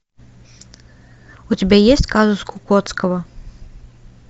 у тебя есть казус кукоцкого